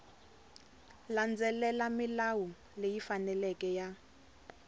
landzelela milawu leyi faneleke ya